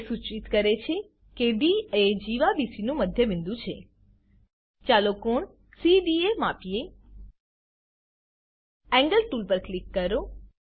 તે સૂચિત કરે છે કે ડી એ જીવા બીસી નું મધ્યબિંદુ છે ચાલો કોણ સીડીએ માપીએ એન્ગલ ટૂલ પર ક્લિક કરો